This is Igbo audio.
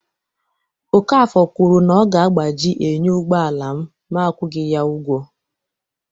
Okafor kwuru na ọ ga-agbaji enyo ụgbọ ala m ma akwụghị ya ugwo